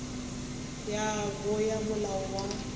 ya bo ya molao wa